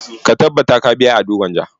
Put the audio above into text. Ka tabbata ka biya Ado Gwanja!